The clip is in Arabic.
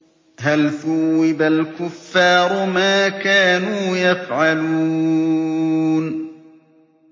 هَلْ ثُوِّبَ الْكُفَّارُ مَا كَانُوا يَفْعَلُونَ